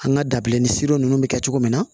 An ka dabileni ninnu bɛ kɛ cogo min na